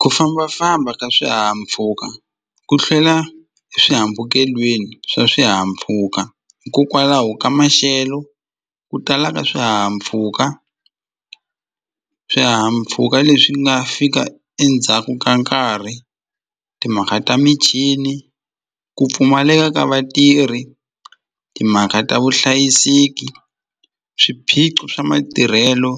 Ku fambafamba ka swihahampfhuka ku hlela eswihambukelweni swa swihahampfhuka hikokwalaho ka maxelo ku tala ka swihahampfhuka swihahampfhuka leswi nga fika endzhaku ka nkarhi timhaka ta michini ku pfumaleka ka vatirhi timhaka ta vuhlayiseki swiphiqo swa matirhelo